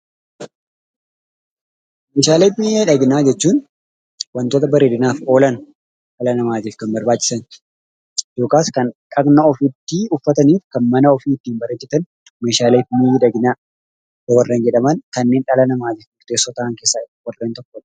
Meeshaalee miidhaginaa jechuun wantoota bareedinaaf oolan dhala namaatiif kan barbaachisan yookaas kan dhaqna ofiitti uffataniifi mana ofiitti bareechatan meeshaalee miidhaginaa warreen jedhaman kanneen dhala namaatiif murteessoo ta'an keesaa warreen tokkodha.